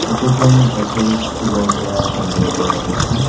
Photo খন এখন school ৰ পৰা সংগ্ৰহ কৰা হৈছে।